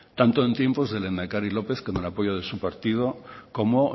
tanto en tiempos del lehendakari lópez con el apoyo de su partido como